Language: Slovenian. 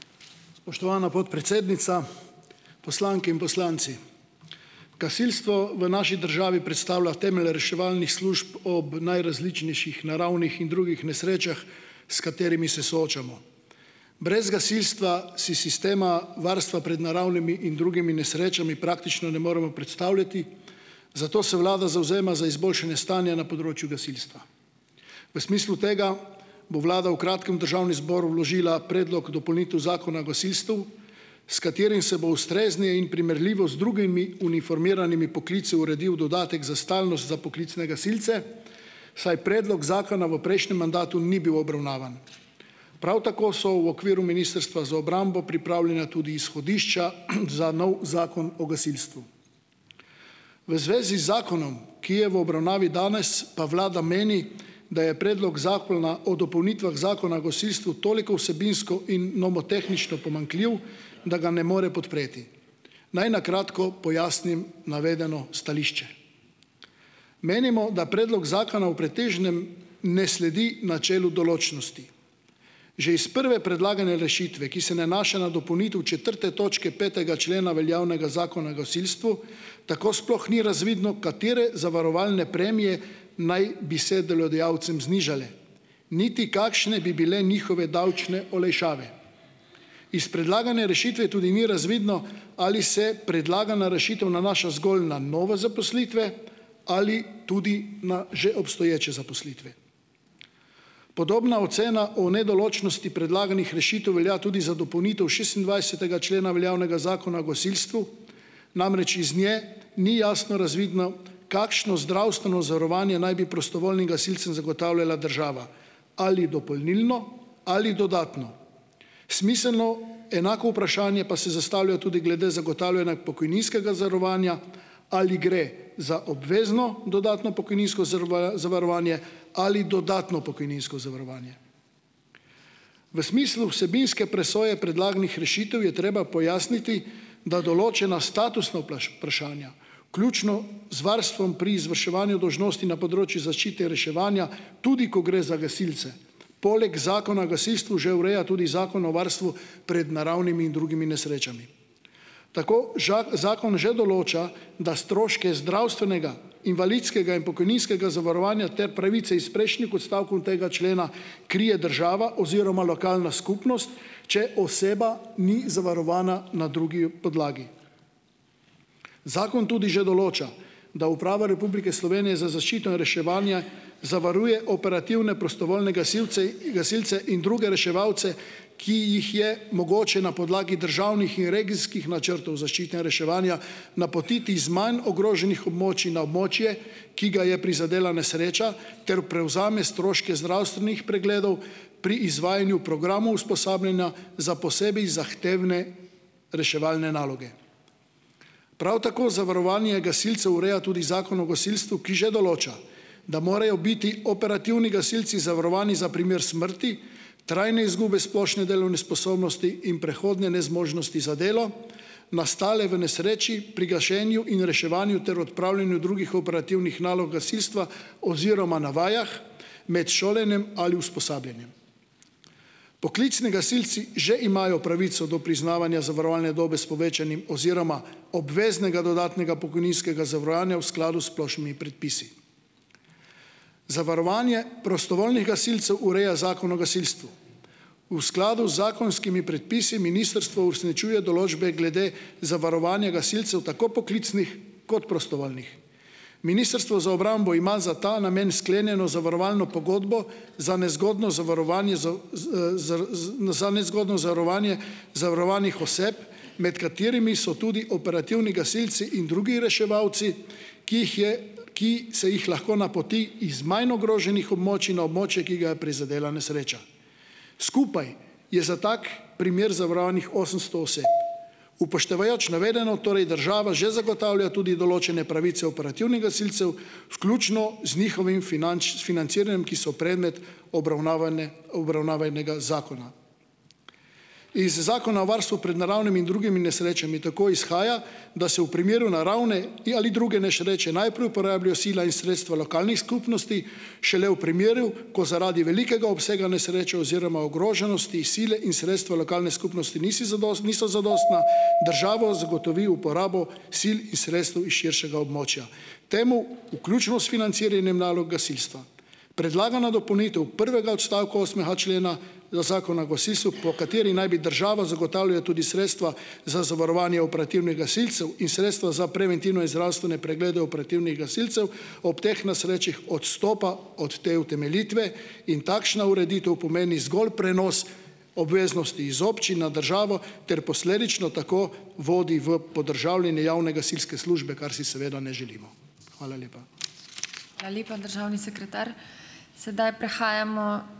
Spoštovana podpredsednica, poslanke in poslanci. Gasilstvo v naši državi predstavlja temelj reševalnih služb ob najrazličnejših naravnih in drugih nesrečah, s katerimi se soočamo. Brez gasilstva si sistema varstva pred naravnimi in drugimi nesrečami praktično ne moremo predstavljati, zato se vlada zavzema za izboljšanje stanja na področju gasilstva. V smislu tega bo vlada v kratkem v državni zbor vložila predlog dopolnitev zakona o gasilstvu, s katerim se bo ustrezni in primerljivo z drugimi uniformiranimi poklici uredil dodatek za stalnost za poklicne gasilce, saj predlog zakona v prejšnjem mandatu ni bil obravnavan. Prav tako so v okviru ministrstva za obrambo pripravljena tudi izhodišča, za novi zakon o gasilstvu. V zvezi z zakonom, ki je v obravnavi danes, pa vlada meni, da je predlog zakona o dopolnitvah zakona o gasilstvu toliko vsebinsko in nomotehnično pomanjkljiv, da ga ne more podpreti. Naj na kratko pojasnim navedeno stališče. Menimo, da predlog zakona v pretežnem ne sledi načelu določnosti. Že iz prve predlagane rešitve, ki se nanaša na dopolnitev četrte točke petega člena veljavnega zakona o gasilstvu, tako sploh ni razvidno, katere zavarovalne premije naj bi se delodajalcem znižale. Niti kakšne bi bile njihove davčne olajšave. Iz predlagane rešitve tudi ni razvidno, ali se predlagana rešitev nanaša zgolj na nove zaposlitve ali tudi na že obstoječe zaposlitve. Podobna ocena o nedoločnosti predlaganih rešitev velja tudi za dopolnitev šestindvajsetega člena veljavnega zakona o gasilstvu. Namreč, iz nje ni jasno razvidno, kakšno zdravstveno zavarovanje naj bi prostovoljnim gasilcem zagotavljala država, ali dopolnilno ali dodatno. Smiselno enako vprašanje pa se zastavlja tudi glede zagotavljanja pokojninskega zavarovanja ali gre za obvezno dodatno pokojninsko zavarovanje ali dodatno pokojninsko zavarovanje. V smislu vsebinske presoje predlaganih rešitev je treba pojasniti, da določena statusna vprašanja, vključno z varstvom pri izvrševanju dolžnosti na področju zaščite in reševanja, tudi ko gre za gasilce. Poleg zakona o gasilstvu že ureja tudi zakon o varstvu pred naravnimi in drugimi nesrečami. Tako zakon že določa, da stroške zdravstvenega, invalidskega in pokojninskega zavarovanja ter pravice iz prejšnjih odstavkov tega člena krije država oziroma lokalna skupnost, če oseba ni zavarovana na drugi podlagi. Zakon tudi že določa, da Uprava Republike Slovenije za zaščito in reševanje zavaruje operativne prostovoljne gasilce, gasilce in druge reševalce, ki jih je mogoče na podlagi državnih in regijskih načrtov zaščite in reševanja napotiti iz manj ogroženih območij na območje, ki ga je prizadela nesreča, ter prevzame stroške zdravstvenih pregledov pri izvajanju programov usposabljanja za posebej zahtevne reševalne naloge. Prav tako zavarovanje gasilcev ureja tudi zakon o gasilstvu, ki že določa, da morajo biti operativni gasilci zavarovani za primer smrti, trajne izgube splošne delovne sposobnosti in prehodne nezmožnosti za delo, nastale v nesreči, pri gašenju in reševanju ter odpravljanju drugih operativnih nalog gasilstva oziroma na vajah, med šolanjem ali usposabljanjem. Poklicni gasilci že imajo pravico do priznavanja zavarovalne dobe s povečanim oziroma obveznega dodatnega pokojninskega zavarovanja v skladu s splošnimi predpisi. Zavarovanje prostovoljnih gasilcev ureja zakon o gasilstvu. V skladu z zakonskimi predpisi ministrstvo uresničuje določbe glede zavarovanja gasilcev, tako poklicnih kot prostovoljnih. Ministrstvo za obrambo ima za ta namen sklenjeno zavarovalno pogodbo za nezgodno zavarovanje za nezgodno zavarovanje zavarovanih oseb, med katerimi so tudi operativni gasilci in drugi reševalci, ki jih je, ki se jih lahko napoti iz manj ogroženih območij na območje, ki ga je prizadela nesreča. Skupaj je za tak primer zavarovanih osemsto oseb. Upoštevajoč navedeno, torej država že zagotavlja tudi določene pravice operativnih gasilcev, vključno z njihovim financiranjem, ki so predmet obravnavanega zakona. Iz zakona o varstvu pred naravnimi in drugimi nesrečami tako izhaja, da se v primeru naravne ali druge nesreče najprej uporabijo sile in sredstva lokalnih skupnosti, šele v primeru, ko zaradi velikega obsega nesreče oziroma ogroženosti sile in sredstva lokalne skupnosti nisi niso zadostna, država zagotovi uporabo sil in sredstev iz širšega območja, temu vključno s financiranjem nalog gasilstva. Predlagana dopolnitev prvega odstavka osmega člena zakona o gasilstvu, po kateri naj bi država zagotavljala tudi sredstva za zavarovanje operativnih gasilcev in sredstva za preventivne zdravstvene preglede operativnih gasilcev ob teh nesrečah, odstopa od te utemeljitve in takšna ureditev pomeni zgolj prenos obveznosti iz občin na državo ter posledično tako vodi v podržavljanje javne gasilske službe, kar si seveda ne želimo. Hvala lepa.